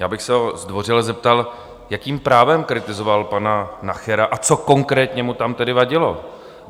Já bych se ho zdvořile zeptal, jakým právem kritizoval pana Nachera, a co konkrétně mu tam tedy vadilo?